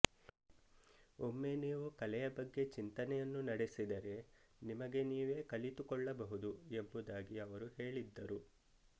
ಒಮ್ಮೆ ನೀವು ಕಲೆಯ ಬಗ್ಗೆ ಚಿಂತನೆಯನ್ನು ನಡೆಸಿದರೆ ನಿಮಗೆ ನೀವೆ ಕಲಿತುಕೊಳ್ಳಬಹುದು ಎಂಬುದಾಗಿ ಅವರು ಹೇಳಿದ್ದರು